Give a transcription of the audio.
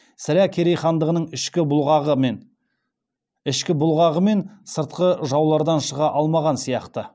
сірә керей хандығының ішкі бұлғағы мен сыртқы жаулардан шыға алмаған сияқты